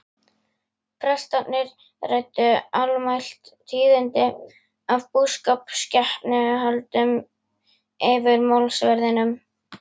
Prestarnir ræddu almælt tíðindi af búskap og skepnuhöldum yfir málsverðinum.